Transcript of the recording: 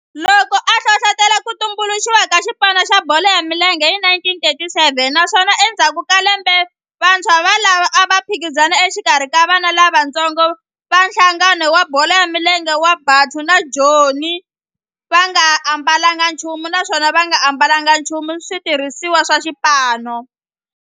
Loko a hlohlotela ku tumbuluxiwa ka xipano xa bolo ya milenge hi 1937 naswona endzhaku ka lembe vantshwa volavo a va phikizana exikarhi ka vana lavatsongo va nhlangano wa bolo ya milenge wa Bantu wa Joni va nga ambalanga nchumu naswona va nga ambalanga nchumu xitirhisiwa xa xipano.